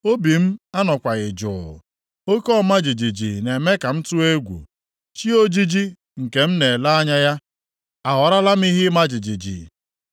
Obi m anọkwaghị jụụ, oke ọma jijiji na-eme ka m tụọ egwu; chi ojiji nke m na-ele anya ya aghọọlara m ihe ịma jijiji.